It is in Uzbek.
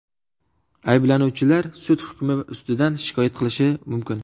Ayblanuvchilar sud hukmi ustidan shikoyat qilishi mumkin.